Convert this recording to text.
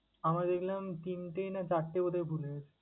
আমার দেখলাম তিনটে না চারটে বোধ হয় ভুল হয়েছে।